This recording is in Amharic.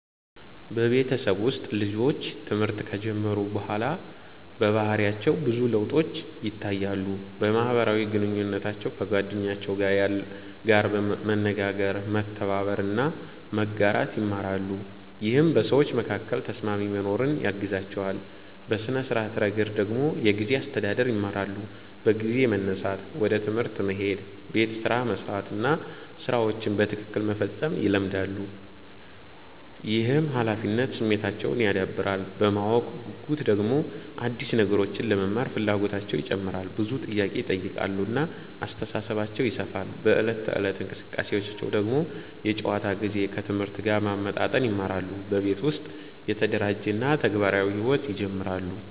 በቤተሰብ ውስጥ ልጆች ትምህርት ከጀመሩ በኋላ በባህሪያቸው ብዙ ለውጦች ይታያሉ። በማህበራዊ ግንኙነታቸው ከጓደኞቻቸው ጋር መነጋገር፣ መተባበር እና መጋራት ይማራሉ፣ ይህም በሰዎች መካከል ተስማሚ መኖርን ያግዛቸዋል። በሥነ-ስርዓት ረገድ ደግሞ የጊዜ አስተዳደር ይማራሉ፤ በጊዜ መነሳት፣ ወደ ትምህርት መሄድ፣ ቤት ስራ መስራት እና ሥራቸውን በትክክል መፈጸም ይለመዳሉ። ይህም ኃላፊነት ስሜታቸውን ያዳብራል። በማወቅ ጉጉት ደግሞ አዲስ ነገሮችን ለመማር ፍላጎታቸው ይጨምራል፣ ብዙ ጥያቄ ይጠይቃሉ እና አስተሳሰባቸው ይሰፋል። በዕለት ተዕለት እንቅስቃሴያቸው ደግሞ የጨዋታ ጊዜን ከትምህርት ጋር ማመጣጠን ይማራሉ፣ በቤት ውስጥ የተደራጀ እና ተግባራዊ ሕይወት ይጀምራሉ።